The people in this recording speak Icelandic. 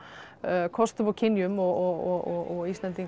kostum og kynjum og Íslendingar